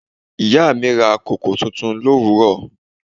Ìyá mi ra koko tuntun l'òwúrò.